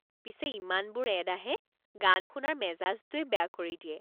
পিছে ইমানবোৰ এড আহে, গান শুনাৰ মেজাজটোৱে বেয়া কৰি দিয়ে।